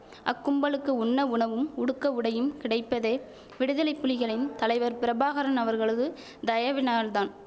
அக்கும்பலுக்கு உண்ண உணவும் உடுக்க உடையும் கிடைப்பதே விடுதலை புலிகளின் தலைவர் பிரபாகரன் அவர்களது தயவினால்தான்